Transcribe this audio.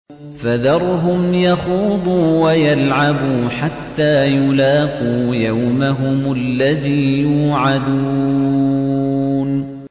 فَذَرْهُمْ يَخُوضُوا وَيَلْعَبُوا حَتَّىٰ يُلَاقُوا يَوْمَهُمُ الَّذِي يُوعَدُونَ